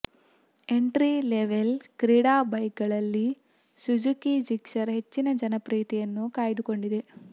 entry level ಕ್ರೀಡಾ ಬೈಕ್ಗಳಲ್ಲಿ Suzuki Gixxer ಹೆಚ್ಚಿನ ಜನಪ್ರಿಯತೆಯನ್ನು ಕಾಯ್ದುಕೊಂಡಿದೆ